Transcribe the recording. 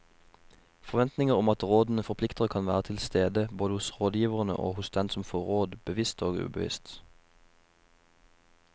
Forventninger om at rådene forplikter kan være til stede både hos rådgiverne og hos den som får råd, bevisst og ubevisst.